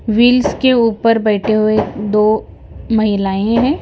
Wheels के ऊपर बैठे हुए दो महिलाएँ हैं।